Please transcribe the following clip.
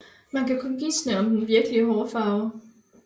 Man kan kun gisne om den virkelige hårfarve